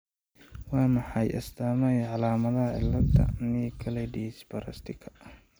Waa maxay astamaha iyo calaamadaha cilada Nicolaides Baraitserka?